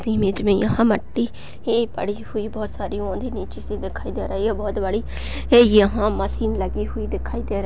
इस इमेज में यहाँ मट्टी है पड़ी हुई बोहोत सारी औंधी नीची सी दिखाई दे रही है बोहोत बड़ी है यहाँ मशीन लगी हुई दिखाई दे रही--